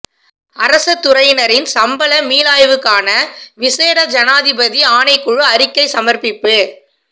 அரச துறையினரின் சம்பள மீளாய்வுக்கான விசேட ஜனாதிபதி ஆணைக்குழு அறிக்கை சமர்ப்பிப்பு